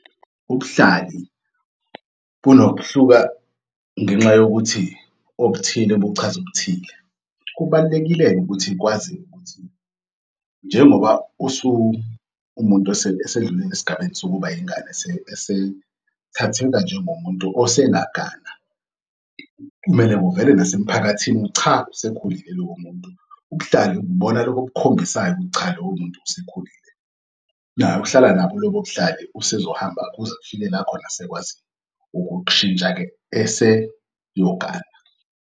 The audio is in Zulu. Ubuhlali bunokuhluka ngenxa yokuthi okuthile kuchaz'okuthile. Kubalulekile-ke ukuthi kwaziwe ukuthi njengoba umuntu esedlulile esigabeni sokuba yingane esethatheka njengomuntu osengagana kumele kuvele nasemphakathini ukuthi, cha usekhulile lowomuntu, ubuhlali bonalobob'khombisayo ukuthi cha lowo muntu usekhulile naye uhlalanabo lob'buhlali usezohambe kuze kufike la khona sekwazi ukushintsha-ke eseyogana.